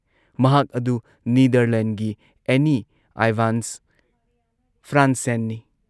ꯃꯍꯥꯛ ꯑꯗꯨ ꯅꯤꯗꯔꯂꯦꯟꯗꯒꯤ ꯑꯦꯅꯤ ꯑꯥꯏꯚꯥꯟꯁ ꯐ꯭ꯔꯥꯟꯁꯦꯟꯅꯤ ꯫